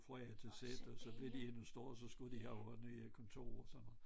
Fra A til Z og så blev de endnu større så skulle de have også nye kontorer og sådan noget